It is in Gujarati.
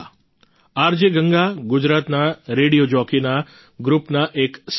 આરજે ગંગા ગુજરાતના રેડિયો જોકી ના ગ્રુપના એક સભ્ય છે